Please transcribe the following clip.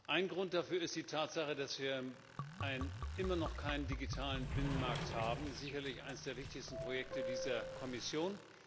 Ein Grund dafür ist die Tatsache, dass wir immer noch keinen digitalen Binnenmarkt haben sicherlich eins der wichtigsten Projekte dieser Kommission.